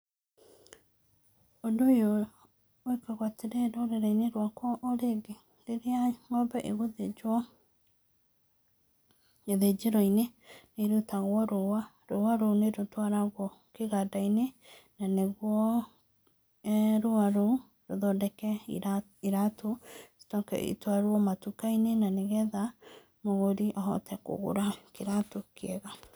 Ũndũ ũyũ wĩkagwo atĩrĩ rũrĩrĩ-inĩ rwakwa o rĩngĩ, rĩrĩa ng'ombe ĩgũthĩnjwo gĩthĩnjĩro-inĩ nĩ ĩrutagwo rũa. Rũa rũu nĩ rũtwarago kĩganda-inĩ na nĩguo rũa rũu rũthondeke iratũ, icoke itwarwo matuka-inĩ, na nĩgetha mũgũri ahote kũgũra kĩratũ kĩega.